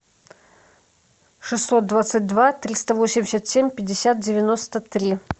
шестьсот двадцать два триста восемьдесят семь пятьдесят девяносто три